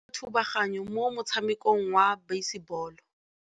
Mosimane o dirile thubaganyô mo motshamekong wa basebôlô.